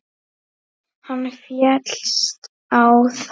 Hann féllst á það.